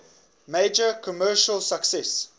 major commercial success